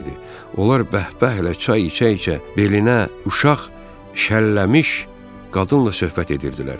Onlar bəhbəhlə çay içə-içə belinə uşaq şəlləmiş qadınla söhbət edirdilər.